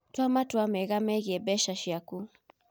Tua matua mega megiĩ mbeca ciaku.